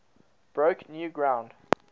broke new ground